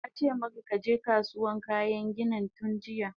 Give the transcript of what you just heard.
Nace maka kaje Kasuwan kayan ginin tunjiya!